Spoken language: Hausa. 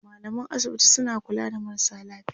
mallaman asibiti suna kula da marasa lafiya